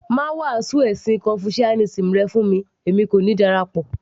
má wàásù ẹ̀sìn confucianism rẹ fún mi èmi kò ní darapọ̀